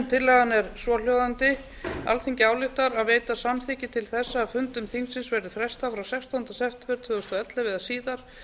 tillagan er svohljóðandi alþingi ályktar að veita samþykki til þess að fundum þingsins verði frestað frá sextánda september tvö þúsund og ellefu eða síðar